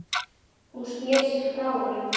Hún sneri sér frá honum.